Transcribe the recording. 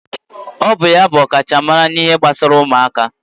Ọ bụ ya bụ ọkachamara n'ihe gbasara ụmụaka